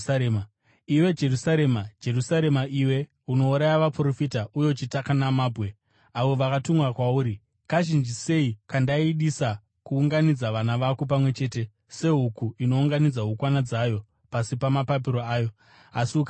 “Iwe Jerusarema, Jerusarema, iwe unouraya vaprofita uye uchitaka namabwe avo vakatumwa kwauri, kazhinji sei kandaidisa kuunganidza vana vako pamwe chete, sehuku inounganidza hukwana dzayo pasi pamapapiro ayo, asi ukaramba!